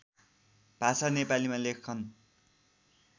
भाषा नेपलीमा लेखन